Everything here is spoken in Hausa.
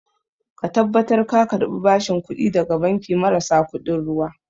Ka tabbatar ka karɓi bashin kuɗi daga banki marasa kuɗin ruwa